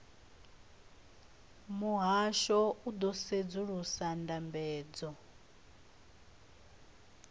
muhasho u ḓo sedzulusa ndambedzo